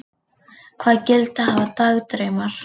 Hvaða gildi hafa dagdraumar?